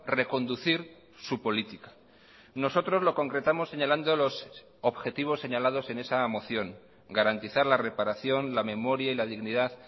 reconducir su política nosotros lo concretamos señalando los objetivos señalados en esa moción garantizar la reparación la memoria y la dignidad